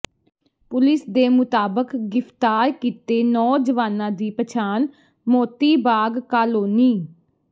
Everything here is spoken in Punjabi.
ਪੁਲਿਸ ਦੇ ਮੁਤਾਬਕ ਗਿ੍ਫਤਾਰ ਕੀਤੇ ਨੌਜਵਾਨਾਂ ਦੀ ਪਛਾਣ ਮੋਤੀ ਬਾਗ ਕਾਲੋਨੀ